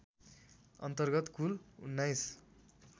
अन्तर्गत कुल १९